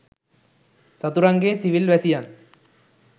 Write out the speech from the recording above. සතුරන්ගේ civil වැසියන්